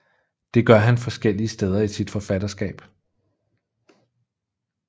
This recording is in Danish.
Det gør han forskellige steder i sit forfatterskab